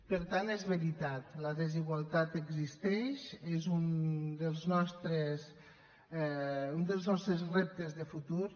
per tant és veritat la desigualtat existeix és un dels nostres reptes de futur